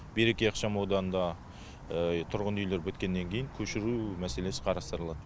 береке ықшамауданында тұрғын үйлер біткеннен кейін көшіру мәселесі қарастырылады